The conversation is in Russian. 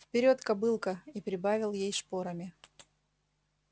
вперёд кобылка и прибавил ей шпорами